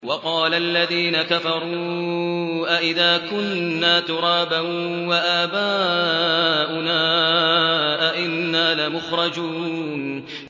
وَقَالَ الَّذِينَ كَفَرُوا أَإِذَا كُنَّا تُرَابًا وَآبَاؤُنَا أَئِنَّا لَمُخْرَجُونَ